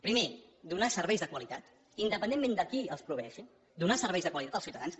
primer donar serveis de qualitat independentment de qui els proveeixi donar serveis de qualitat als ciutadans